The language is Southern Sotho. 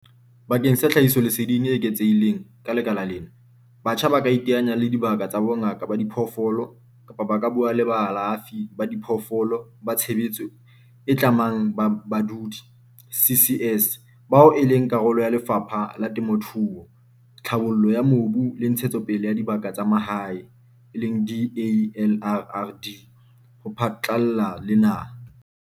Bakeng sa tlhahisoleseding e eketsehileng ka lekala lena, batjha ba ka iteanya le dibaka tsa bongaka ba diphoofolo kapa ba ka bua le baalafi ba diphoofolo ba tshebeletso e tlamang ya badudi, CCS, bao e leng karolo ya Lefapha la Temothuo, Tlhabollo ya Mobu le Ntshetsopele ya Dibaka tsa Mahae, DALRRD, ho phatlalla le naha.